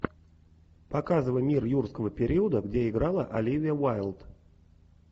показывай мир юрского периода где играла оливия уайлд